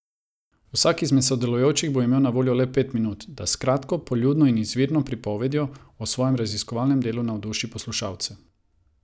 Vsak izmed sodelujočih bo imel na voljo pet minut, da s kratko, poljudno in izvirno pripovedjo o svojem raziskovalnem delu navduši poslušalce.